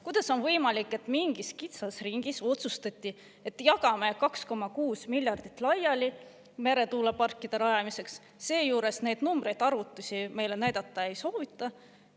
Kuidas on võimalik, et mingis kitsas ringis otsustati, et jagame 2,6 miljardit laiali meretuuleparkide rajamiseks, seejuures neid numbreid, arvutusi meile näidata ei soovita?